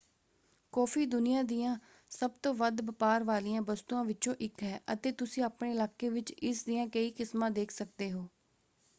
Coffee ਦੁਨੀਆ ਦੀਆਂ ਸਭ ਤੋਂ ਵੱਧ ਵਪਾਰ ਵਾਲੀਆਂ ਵਸਤੂਆਂ ਵਿੱਚੋਂ ਇੱਕ ਹੈ ਅਤੇ ਤੁਸੀਂ ਆਪਣੇ ਇਲਾਕੇ ਵਿੱਚ ਇਸ ਦੀਆਂ ਕਈ ਕਿਸਮਾਂ ਦੇਖ ਸਕਦੇ ਹੋ।